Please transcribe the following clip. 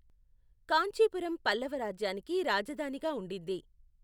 కాంచీపురం పల్లవ రాజ్యానికి రాజధానిగా ఉండింది.